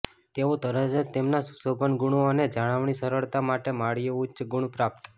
તેઓ તરત જ તેમના સુશોભન ગુણો અને જાળવણી સરળતા માટે માળીઓ ઉચ્ચ ગુણ પ્રાપ્ત